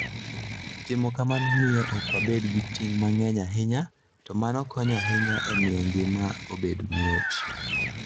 Timo kamano miyo ok wabed gi ting' mang'eny ahinya, to mano konyo ahinya e miyo ngima obed mayot.